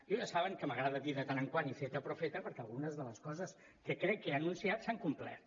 jo ja saben que m’agrada dir de tant en tant iceta profeta perquè algunes de les coses que crec que he anunciat s’han complert